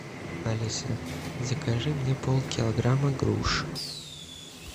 алиса закажи мне полкилограмма груш